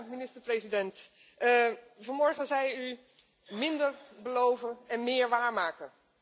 Minister president, vanmorgen zei u minder beloven en meer waarmaken.